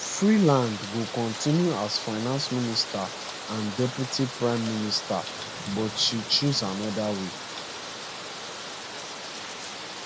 freeland go continue as finance minister and deputy prime minister but she choose anoda way